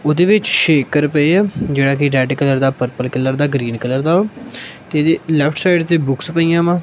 ਉਹਦੇ ਵਿੱਚ ਸ਼ੇਕਰ ਪਏ ਆ ਜਿਹੜਾ ਕਿ ਰੈਡ ਕਲਰ ਦਾ ਪਰਪਲ ਕਲਰ ਦਾ ਗਰੀਨ ਕਲਰ ਦਾ ਤੇ ਇਦੇ ਲੈਫਟ ਸਾਈਡ ਤੇ ਬੁਕਸ ਪਈਆਂ ਵਾ--